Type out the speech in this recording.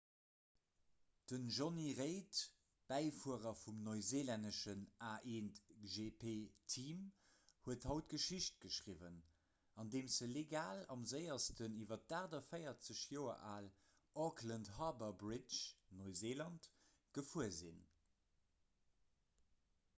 den jonny reid bäifuerer vum neuseelännesche a1gp-team huet haut geschicht geschriwwen andeem se legal am séiersten iwwer d'48 joer al auckland harbour bridge neuseeland gefuer sinn